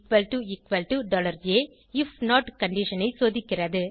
if not condition ஐ சோதிக்கிறது